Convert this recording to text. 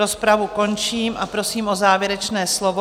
Rozpravu končím a prosím o závěrečné slovo.